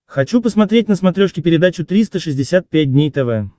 хочу посмотреть на смотрешке передачу триста шестьдесят пять дней тв